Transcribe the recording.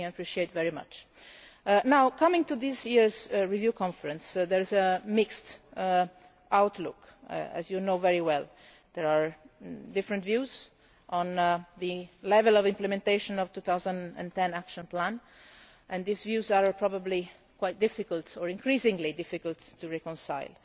It is something I appreciate very much. Now, coming to this year's Review Conference, there is a mixed outlook, as you know very well. There are different views on the level of implementation of the 2010 Action Plan, and these views are probably quite difficult, or increasingly difficult, to reconcile.